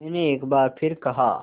मैंने एक बार फिर कहा